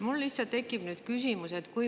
Mul lihtsalt tekib nüüd küsimus.